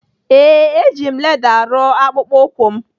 Ee, eji m leda rụọ akpụkpọ ụkwụ m.